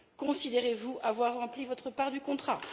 Considérez vous avoir rempli votre part du contrat?